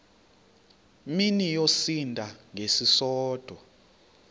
mini yosinda ngesisodwa